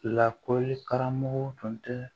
Lakɔli karamɔgɔw tun tɛ